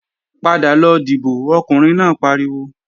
Padà lọ dìbò, Ọkùnrin náà pariwo!